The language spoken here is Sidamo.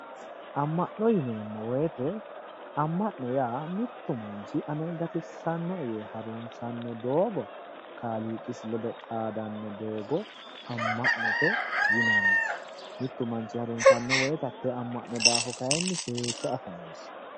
Amma'no yineemmo woyiite amma'no yaa mittu manchi ane gatissannoe yee harunsanno doogo kaaliiqisi ledo xaadanno doogo amma'note yinanni mittu manchi harunssanno woyiite hattee amma'no daafo kayiinni seekke afa noosi